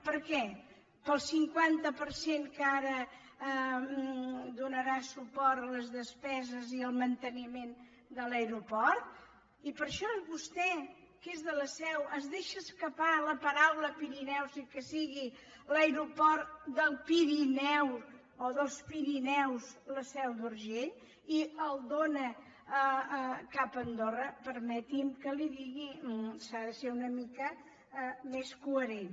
per què pel cinquanta per cent que ara donarà suport a les despeses i al manteniment de l’aeroport i per això vostè que és de la seu es deixa escapar la paraula pirineus i que sigui l’aeroport del pirineu o dels pirineus la seu d’urgell i el dóna cap a andorra permeti’m que li ho digui s’ha de ser una mica més coherent